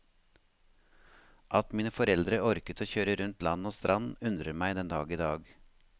At mine foreldre orket å kjøre rundt land og strand undrer meg den dag i dag.